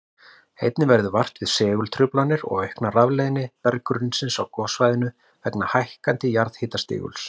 Einnig verður vart við segultruflanir og aukna rafleiðni berggrunnsins á gossvæðinu vegna hækkandi jarðhitastiguls.